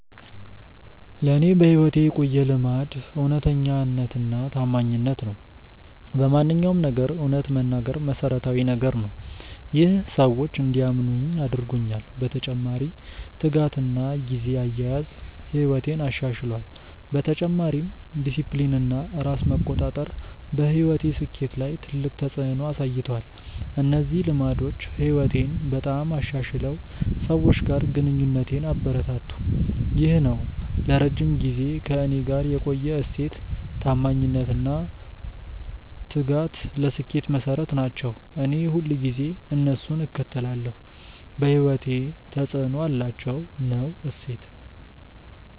ለእኔ በሕይወቴ የቆየ ልማድ እውነተኛነትና ታማኝነት ነው። በማንኛውም ነገር እውነት መናገር መሠረታዊ ነገር ነው። ይህ ሰዎች እንዲያምኑኝ አድርጎኛል። በተጨማሪ ትጋትና ጊዜ አያያዝ ሕይወቴን አሻሽሏል። በተጨማሪም ዲሲፕሊን እና ራስ መቆጣጠር በሕይወቴ ስኬት ላይ ትልቅ ተፅዕኖ አሳይቷል። እነዚህ ልማዶች ሕይወቴን በጣም አሻሽለው ሰዎች ጋር ግንኙነቴን አበረታቱ። ይህ ነው ለረጅም ጊዜ ከእኔ ጋር የቆየ እሴት። ታማኝነት እና ትጋት ለስኬት መሠረት ናቸው። እኔ ሁልጊዜ እነሱን እከተላለሁ። በሕይወቴ ተፅዕኖ አላቸው።። ነው እሴት።